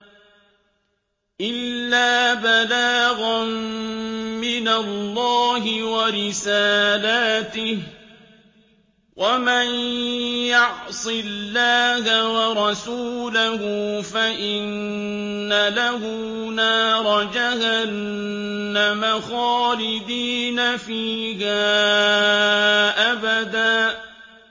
إِلَّا بَلَاغًا مِّنَ اللَّهِ وَرِسَالَاتِهِ ۚ وَمَن يَعْصِ اللَّهَ وَرَسُولَهُ فَإِنَّ لَهُ نَارَ جَهَنَّمَ خَالِدِينَ فِيهَا أَبَدًا